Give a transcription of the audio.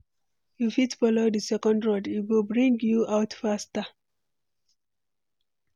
You fit follow di second road, e go bring you out faster.